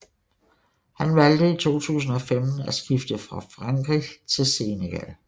Han valgte i 2015 at skifte fra Frankrig til Senegal